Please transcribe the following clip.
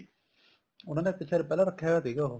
ਉਹਨਾ ਨੇ ਇੱਕ ਸ਼ਾਇਦ ਪਹਿਲਾਂ ਰੱਖਿਆ ਹੋਇਆ ਸੀਗਾ ਉਹ